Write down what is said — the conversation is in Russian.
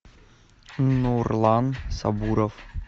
нурлан сабуров